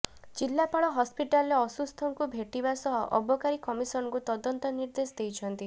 ଜିଲ୍ଳାପାଳ ହସ୍ପିଟାଲରେ ଅସୁସ୍ଥଙ୍କୁ ଭେଟିବା ସହ ଅବକାରୀ କମିଶନରଙ୍କୁ ତଦନ୍ତ ନିର୍ଦେଶ ଦେଇଛନ୍ତି